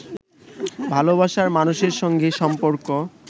ভালোবাসার মানুষের সঙ্গে সম্পর্ক